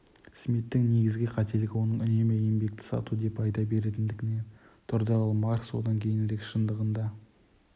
смиттің негізгі қателігі оның үнемі еңбекті сату деп айта беретіндігінен тұрды ал маркс одан кейінірек шындығында